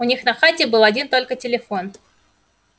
у них на хате был один только телефон